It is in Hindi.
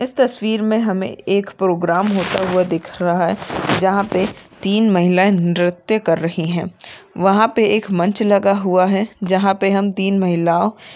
इस तस्वीर मे हमे एक प्रोग्राम होता हुआ दिख रहा है जहा मे तीन महिला नृत्य कर रही है वहा पे एक मंच लगा हुआ है जहा पे हम तीन महिला ओ --